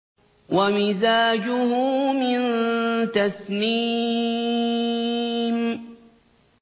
وَمِزَاجُهُ مِن تَسْنِيمٍ